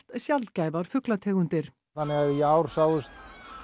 sjaldgæfar fuglategundir þannig að í ár sáust